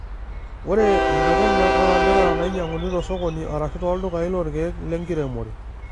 Ore mpekun olantera neinyiang'uni tosokoni arashu tooldukai lorkiek lenkiremore.